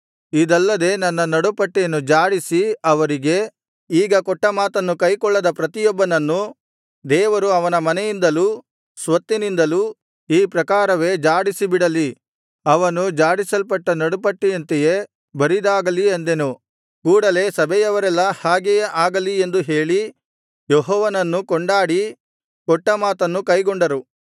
ಇದಲ್ಲದೆ ನನ್ನ ನಡು ಪಟ್ಟಿಯನ್ನು ಝಾಡಿಸಿ ಅವರಿಗೆ ಈಗ ಕೊಟ್ಟ ಮಾತನ್ನು ಕೈಕೊಳ್ಳದ ಪ್ರತಿಯೊಬ್ಬನನ್ನು ದೇವರು ಅವನ ಮನೆಯಿಂದಲೂ ಸ್ವತ್ತಿನಿಂದಲೂ ಈ ಪ್ರಕಾರವೇ ಝಾಡಿಸಿ ಬಿಡಲಿ ಅವನು ಝಾಡಿಸಲ್ಪಟ್ಟ ನಡುಪಟ್ಟಿಯಂತೆಯೇ ಬರಿದಾಗಲಿ ಅಂದೆನು ಕೂಡಲೆ ಸಭೆಯವರೆಲ್ಲಾ ಹಾಗೆಯೇ ಆಗಲಿ ಎಂದು ಹೇಳಿ ಯೆಹೋವನನ್ನು ಕೊಂಡಾಡಿ ಕೊಟ್ಟ ಮಾತನ್ನು ಕೈಗೊಂಡರು